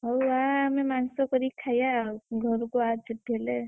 ହଉ ଆ ଆମେ ମାଂସ କରି ଖାଇବା ଆଉ, ଘରକୁ ଆ ଛୁଟି ହେଲେ,